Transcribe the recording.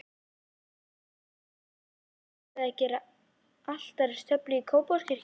Ekki auðnaðist Gerði að gera altaristöflu í Kópavogskirkju.